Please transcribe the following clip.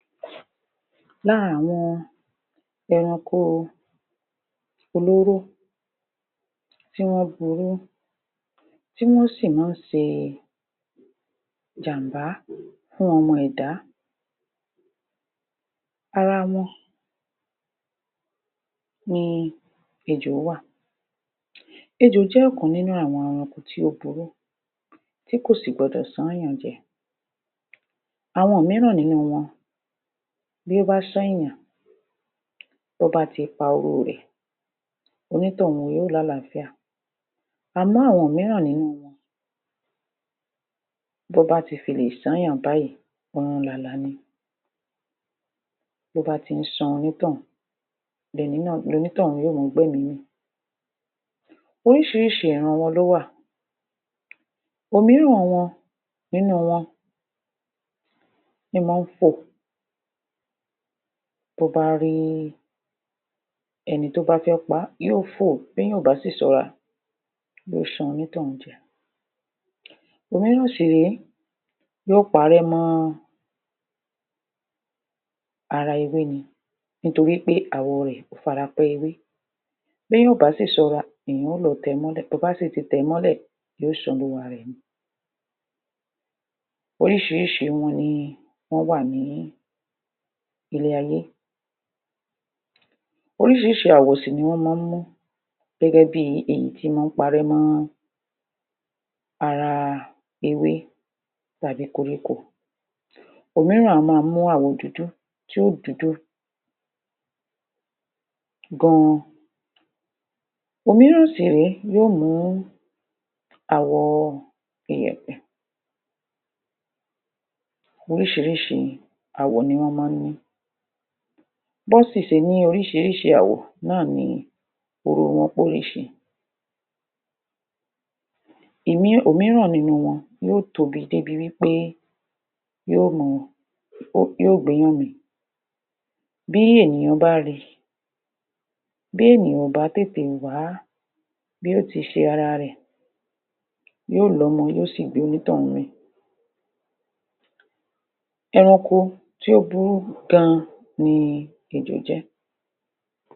Lára àwọn ẹranko olóró tíwọ́n burú tí wọ́n sì maá n ṣe ìjàmbá fún ọmọ ẹ̀dá, ara wọn ni ejò wà. Ejò jẹ́ ọ̀kan nínú àwọn ẹranko tí ó burú tí kò sì gbọdọ̀ ṣányàn jẹ, àwọn míràn nínu wọn bí ó bá ṣányàn tọ́nbá ti fa oró rẹ̀ onítọ̀ún yóò lálàáfíà, àmọ́ àwọn míràn nínú wọn tó bá tilè ṣányàn báyì ọ̀run làlà ni. tóbá ti ṣán onítọ̀ún yóò gbẹ́mì mì, òmíràn nínú wọn ní mo n fò tóbá ri ẹni tí ó bá fẹ pa á, yí ó fò tí èyàn náà ò bá dẹ ṣọ́ra ó lè ṣán onítọ̀ún jẹ. Òhun náà sìré yóò parẹ́ mọ́ ara ewé ni nítoripé àwọ̀ rẹ̀ ó fara pẹ́ ewé bẹ́yàn ò básì ṣọ́ra ẹ̀yàn ó lọ tẹ̀ẹ́ mọ́lẹ̀ bobási tii tẹ̀ẹ́ mọ́lẹ̀ yóò ṣán olúwa rẹ̀ ni. Oríṣiríṣi wọn ni wón wà ní ilé ayé, oríṣ̣iríṣ̣i àwọ̀ ni wọ́n maá n mú gẹ́gẹ́ bi èyí ti mọ́ n parẹ́ mọ́ ara ewé tàbí koríko òmíràn a máa mú àwọ̀ dúdú tí yóò dúdú gan, òmíràn sì nìyí yóò mu àwò ìyẹ̀pẹ̀. Oríṣiríṣi àwọ̀ ni wọ́n mán ní, bón siṣe ní oríṣiríṣi àwọ̀ náà ni oró wọn poríṣiríṣi, òmíràn nínú wọn yóò tóbi débi pé yóò gbéyàn mì bí ènìyàn bá ri bi ènìyàn ò bá wá bí o ti ṣe ara rẹ̀ yíò lọ́mọ yóò sì gbé onítọ̀ún mì, ẹranko tó burú gan ni ejò jẹ́